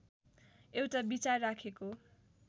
एउटा विचार राखेको